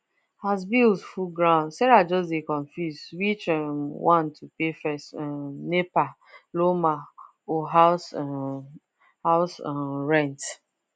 as bills full ground sarah just dey confused which um one to pay first um nepa lawma or house um house um rent